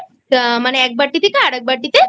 তা মানে এক বাটি থেকে আরেকবাটিতে